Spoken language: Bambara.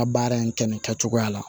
A baara in kɛ nin kɛcogoya la